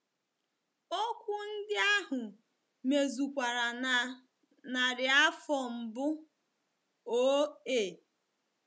Okwu ndị ahụ mezukwara na narị afọ mbụ oo a.